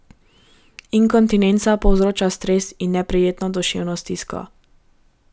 Inkontinenca povzroča stres in neprijetno duševno stisko.